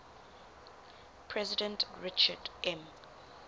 president richard m